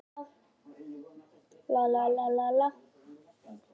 Börkurinn er mun fyrirferðameiri en mergurinn.